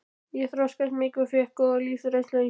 Ég þroskaðist mikið og fékk góða lífsreynslu á sjónum.